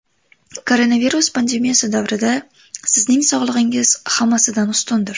Koronavirus pandemiyasi davrida sizning sog‘lig‘ingiz hammasidan ustundir.